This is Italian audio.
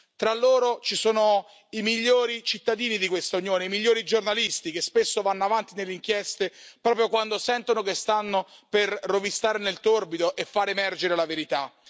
Tra loro ci sono i migliori cittadini di questa Unione, i migliori giornalisti che spesso vanno avanti nelle inchieste proprio quando sentono che stanno per rovistare nel torbido e far emergere la verità.